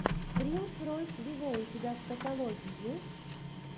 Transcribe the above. принс ройс виво у тебя в каталоге есть